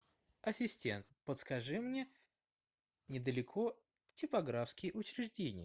ассистент подскажи мне недалеко типографские учреждения